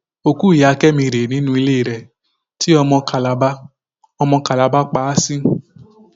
òkú ìyá kẹmi rèé nínú ilé rẹ tí ọmọ kalaba ọmọ kalaba pa á sí